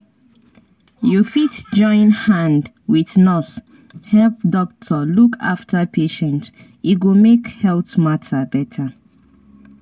you fit join hand wit nurse help doctor look after patient e go make health matter better.